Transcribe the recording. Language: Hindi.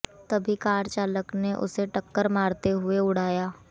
तभी कार चालक ने उसे टक्कर मारते हुए उड़ाया